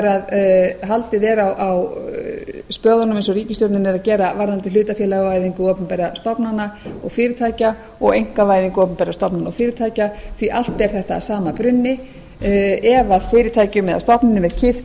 haldið er á spöðunum eins og ríkisstjórnin er að gera varðandi hlutafélagavæðingu opinberra stofnana og fyrirtækja og einkavæðingu opinberra stofnana og fyrirtækja því allt ber þetta að sama brunni ef fyrirtækjum eða stofnunum er kippt